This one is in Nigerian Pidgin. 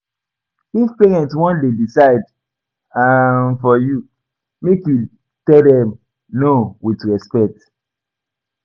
If parents won de decide um for you make you tell dem No with respect